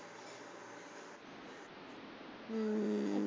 ਹਮ